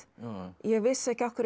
ég vissi ekki af hverju